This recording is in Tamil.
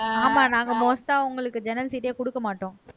ஆமா நாங்க most ஆ உங்களுக்கு ஜன்னல் sheet ஏ குடுக்க மாட்டோம்